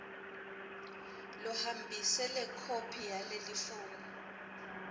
lohambise lekhophi yalelifomu